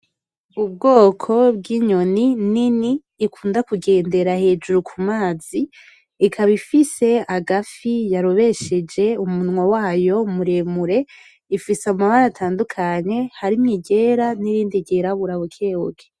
Ubwoko bw’inyoni nini ikunda kugendera hejuru ku mazi, ikabaifise agafi yarobesheje umunwa wayo muremure, ifise amabara atandukanye harimwo iryera n’irindi ryirabura bukebuke.